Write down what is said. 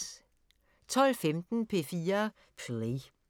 12:15: P4 Play